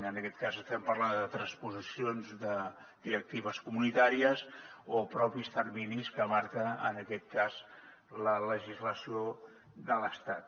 en aquest cas estem parlant de transposicions de directives comunitàries o propis terminis que marca en aquest cas la legislació de l’estat